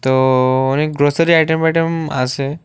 তো অনেক glossary item বাইটেম আছে।